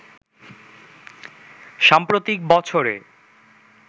সাম্প্রতিক বছরে